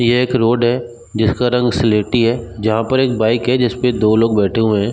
ये एक रोड है जिसका रंग सिलेटी है जहाँ पर एक बाइक है जिसपे दो लोग बैठे हुएं हैं।